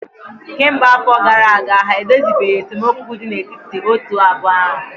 kemgbe afọ gara aga ha edozibeghị esemokwu dị n'etiti otu abụọ ahụ